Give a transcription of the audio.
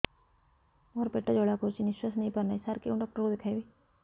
ମୋର ପେଟ ଜ୍ୱାଳା କରୁଛି ନିଶ୍ୱାସ ନେଇ ପାରୁନାହିଁ ସାର କେଉଁ ଡକ୍ଟର କୁ ଦେଖାଇବି